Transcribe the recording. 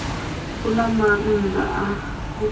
u na maanḓa a u